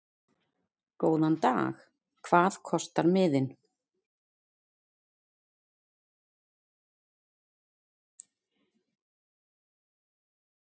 Góðan dag. Hvað kostar miðinn?